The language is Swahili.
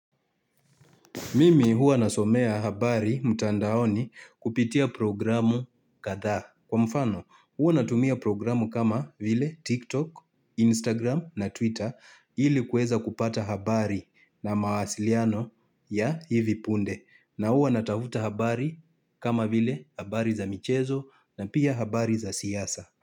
Mimi huwa nasomea habari mtandaoni kupitia programu kadhaa. Kwa mfano huwa natumia programu kama vile TikTok, Instagram na Twitter ili kueza kupata habari na mawasiliano ya hivi punde. Na huwa natafuta habari kama vile habari za michezo na pia habari za siasa.